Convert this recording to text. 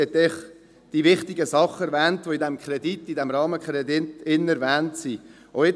Sie hat die wichtigen Dinge erwähnt, die in diesem Rahmenkredit erwähnt sind.